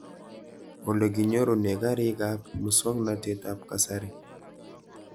Ole kinyorune karik ab muswognatet ab kasari